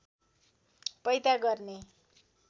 पैदा गर्ने